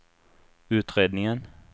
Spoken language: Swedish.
utredningen